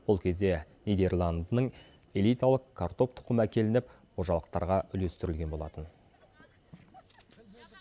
ол кезде нидерландының элиталық картоп тұқымы әкелініп қожалықтарға үлестірілген болатын